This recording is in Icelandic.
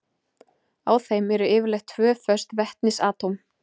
Á þeim eru yfirleitt tvö föst vetnisatóm.